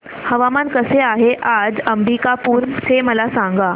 हवामान कसे आहे आज अंबिकापूर चे मला सांगा